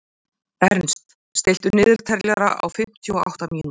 Ernst, stilltu niðurteljara á fimmtíu og átta mínútur.